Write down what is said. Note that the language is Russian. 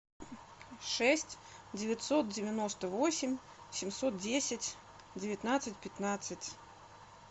шесть девятьсот девяносто восемь семьсот десять девятнадцать пятнадцать